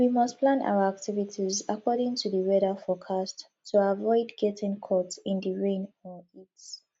we must plan our activities according to di weather forecast to aviod getting caught in di rain or heat